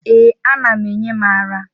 Ee, ana m enye m ara.